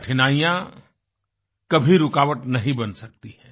कठिनाइयाँ कभी रुकावट नही बन सकती हैं